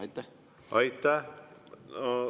Aitäh!